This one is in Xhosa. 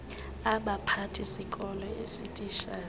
abaphathisikolo ee zititshala